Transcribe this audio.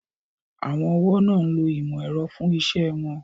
Àwọn ọ̀wọ́ náà ń lo ìmò ẹ̀rọ fún iṣẹ́ won